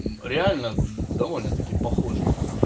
реально довольно таки похоже